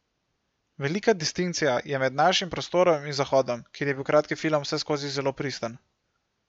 Velika distinkcija je med našim prostorom in Zahodom, kjer je bil kratki film vseskozi zelo pristen.